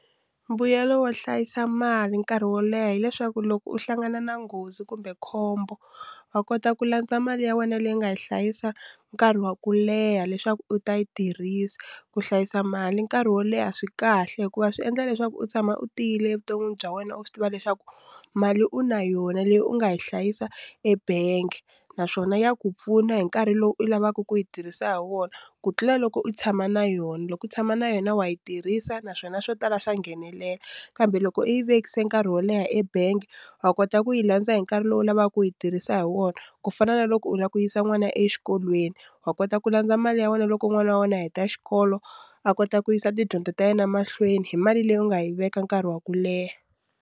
Mbuyelo wo hlayisa mali nkarhi wo leha hileswaku loko u hlangana na nghozi kumbe khombo wa kota ku landza mali ya wena leyi nga yi hlayisa nkarhi wa ku leha leswaku u ta yi tirhisa ku hlayisa mali nkarhi wo leha swi kahle hikuva swi endla leswaku u tshama u tiyile evuton'wini bya wena u swi tiva leswaku mali u na yona leyi u nga yi hlayisa ebangi naswona ya ku pfuna hi nkarhi lowu u lavaka ku yi tirhisa hi wona ku tlula loko u tshama na yona loko u tshama na yona wa yi tirhisa naswona swo tala swa nghenelela kambe loko u yi vekisa nkarhi wo leha ebangi wa kota ku yi landza hi nkarhi lowu u lavaka ku yi tirhisa hi wona ku fana na loko u lava ku yisa n'wana exikolweni wa kota ku landza mali ya wena loko n'wana wa wena a heta xikolo a kota ku yisa tidyondzo ta yena mahlweni hi mali leyi u nga yi veka nkarhi wa ku leha.